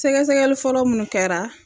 Sɛgɛsɛgɛli fɔlɔ minnu kɛra